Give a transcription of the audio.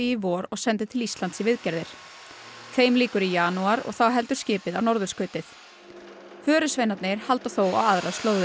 í vor og sendi til Íslands í viðgerðir þeim lýkur í janúar og þá heldur skipið á norðurskautið halda þó á aðrar slóðir